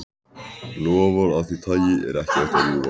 Loforð af því tagi er ekki hægt að rjúfa.